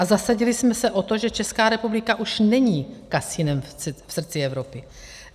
A zasadili jsme se o to, že Česká republika už není kasinem v srdci Evropy.